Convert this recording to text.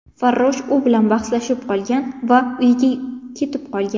Farrosh u bilan bahslashib qolgan va uyiga ketib qolgan.